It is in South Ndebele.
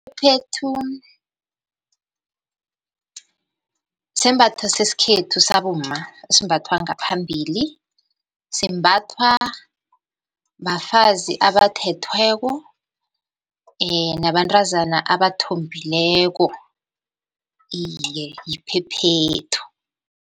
Iphephethu sisembatho sesikhethu sabomma esimbathwa ngaphambili, simbathwa bafazi abathethweko nabantazana abathombileko, iye yiphephethu.